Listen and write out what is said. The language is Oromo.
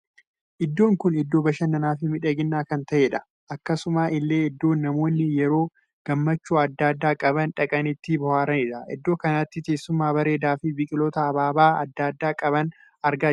Iddoon kun iddoo bashannaa fi miidhaginaa kan taheedha. akkasuma illee iddoon namoonni yeroo gammachuu addaa addaa qaban dhaqanii itti booharaniidha. iddoo kanatti teessuma bareedaa fi biqiloota abaabaa addaa addaa qaban argaa jira.